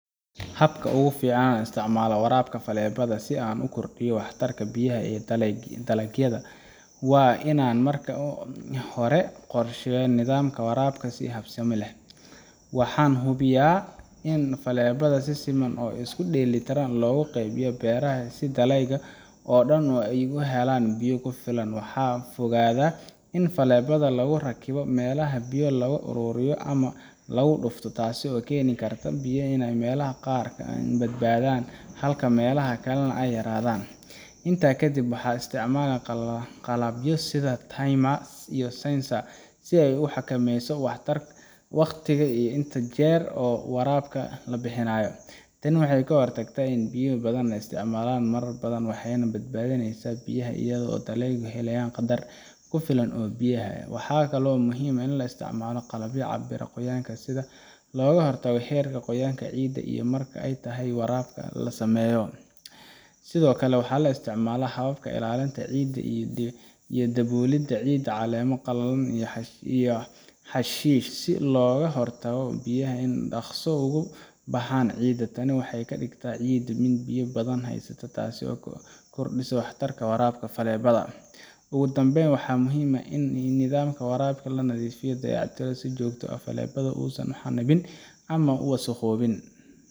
Habka ugu fiican ee aan ku isticmaalo waraabka faleebada si aan u kordhiyo waxtarka biyaha ee dalagyada waa in aan marka hore qorsheeyo nidaamka waraabka si habsami leh. Waxaan hubiyaa in faleebaha si siman oo isku dheelitiran loogu qaybiyo beeraha, si dalagyada oo dhan ay u helaan biyo ku filan. Waxaan ka fogaadaa in faleebaha lagu rakibo meelaha biyo lagu aruuriyo ama lagu dhufto, taasoo keeni karta in biyaha ay meelaha qaar ka badnaadaan halka meelaha kale ay yaraadaan. Intaa ka dib, waxaan isticmaalaa qalabyo sida timer iyo sensor si aan u xakameeyo wakhtiga iyo inta jeer ee waraabka la bixiyo. Tani waxay ka hortagtaa in biyo badan la isticmaalo marar badan, waxayna badbaadinaysaa biyaha iyadoo aan dalagyadu helayaan qadar ku filan oo biyo ah. Waxaa kale oo muhiim ah in la isticmaalo qalabyo cabira qoyaan ciidda si loo ogaado heerka qoyaan ee ciidda iyo marka ay tahay in waraabka la sameeyo. Sidoo kale, waxaan isticmaalaa hababka ilaalinta ciidda sida daboolida ciidda caleemo qallalan ama xashiish si looga hortago in biyaha ay si dhakhso ah uga baxaan ciidda. Tani waxay ka dhigtaa ciidda mid biyo badan haysta, taas oo kordhisa waxtarka waraabka faleebada. Ugu dambeyn, waxaa muhiim ah in nidaamka waraabka la nadiifiyo oo la dayactiro si joogto ah si faleebaha uusan u xannibmin ama u wasakhoobin